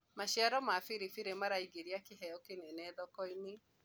maciaro ma biribiri maraingiria kĩheo kĩnene thoko-inĩ